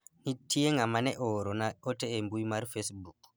nitie ng'ama ne ooro na ote e mbui mar facebook